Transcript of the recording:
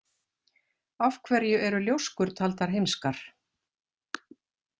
Af hverju eru ljóskur taldar heimskar?